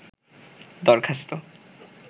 দরখাস্ত